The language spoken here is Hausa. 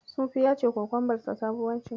Sufi ya ce kokombarsa sabuwa ce.